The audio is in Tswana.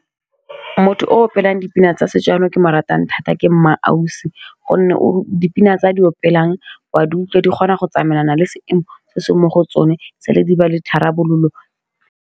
Motho o opelwang dipina tsa setso jaanong yo ke mo ratang thata ke Mma Ausi, gonne o dipina tse a di opelwang wa utlwe di kgona go tsamaelana le seemo se se mo go tsone sale di ba le tharabololo.